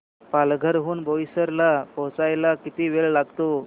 पालघर हून बोईसर ला पोहचायला किती वेळ लागतो